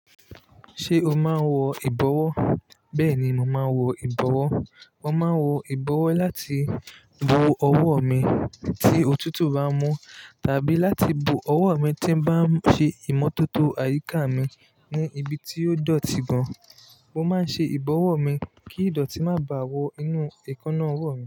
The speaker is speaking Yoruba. Ṣé o máa ń wọ ìbọwọ́? Bẹ́ẹ̀ ni, mo máa ń wọ ìbọwọ́. Mo máa ń wọ ìbọwọ́ láti bo ọwọ́ mi tí òtútù bá mú, tàbí láti bo ọwọ́ mi tí bá ń ṣe ìmọ́tótó àyíká mi ní ibi tí ó dọ̀tí gan. Mo máa ń ṣe ìbọwọ́ mi kí ìdọ̀tí má bàa wọ inú èékánná ọwọ́ mi.